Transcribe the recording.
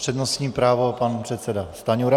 Přednostní právo pan předseda Stanjura.